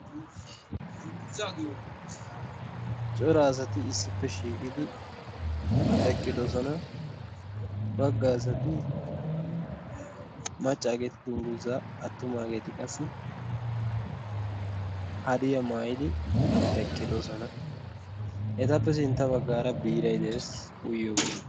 Cora asati issippe shiiqidi eqqidosona. Bagga asati maccaageeti dungguzzaa attumaageeti qassi hadiya mayidi eqqidosona. Etappe sintta baggaara biiray de'es uyiyoogee.